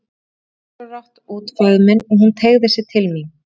Ég breiddi ósjálfrátt út faðminn og hún teygði sig til mín.